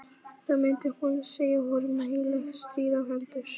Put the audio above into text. Þá myndi hún segja honum heilagt stríð á hendur!